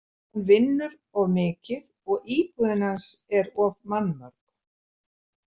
Hann vinnur of mikið og íbúðin hans er of mannmörg.